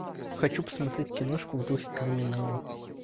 хочу посмотреть киношку в духе криминала